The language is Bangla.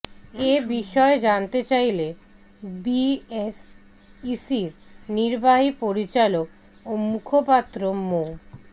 এ বিষয়ে জানতে চাইলে বিএসইসির নির্বাহী পরিচালক ও মুখপাত্র মো